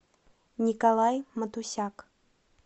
николай матусяк